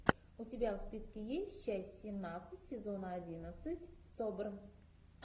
у тебя в списке есть часть семнадцать сезона одиннадцать собр